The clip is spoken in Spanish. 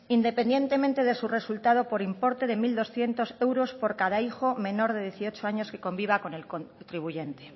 independientemente de su resultado por importe de mil doscientos euros por cada hijo menor de dieciocho años que conviva con el contribuyente